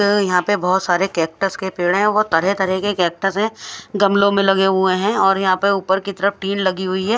तो यहा पे बोहोत सारे केक्टस के पेड़ है और तरह तरह के केक्टस है गमलो में लगे हुए है और यह पर ऊपर की तरफ टिन लगी हुई है।